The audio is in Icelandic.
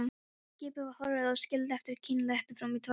Skipið var horfið og skildi eftir kynlegt tóm í tilverunni.